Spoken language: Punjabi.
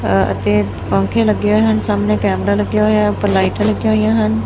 ਅਤੇ ਪੰਖੇ ਲੱਗੇ ਹੋਏ ਹਨ ਸਾਹਮਣੇ ਕੈਮਰਾ ਲੱਗਿਆ ਹੋਇਆ ਉਪਰ ਲਾਈਟ ਲੱਗੀਆਂ ਹੋਈਆਂ ਹਨ।